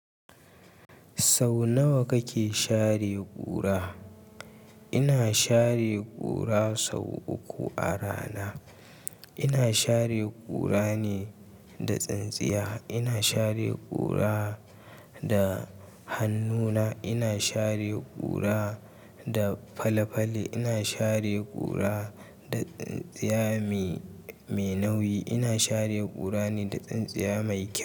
Sau nawa kake share ƙura? Ina share ƙura sau uku a rana. Ina share ƙura ne da tsintsiya. Ina share ƙura da hannuna. Ina share ƙura da fale-fale. Ina share ƙura da tsintsiya mai nauyi. Ina share ƙura ne da tsintsiya mai kyau.